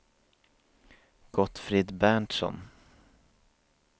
Gottfrid Berntsson